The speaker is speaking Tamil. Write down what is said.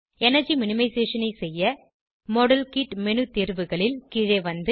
எனர்ஜி மினிமைசேஷன் ஐ செய்ய மாடல்கிட் மேனு தேர்வுகளில் கீழே வந்து